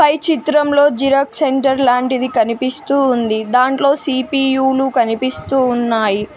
ఈ చిత్రంలో xerox centre లాంటిది కనిపిస్తూ ఉంది. దాంట్లో సి_పి_యు లు కనిపిస్తూ ఉన్నాయి.